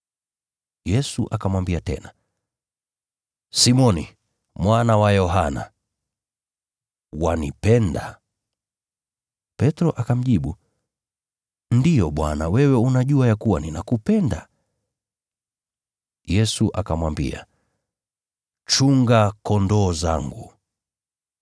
Yesu akamwambia tena, “Simoni, mwana wa Yohana, wanipenda?” Petro akamjibu, “Ndiyo Bwana, wewe unajua ya kuwa ninakupenda.” Yesu akamwambia, “Chunga kondoo zangu.”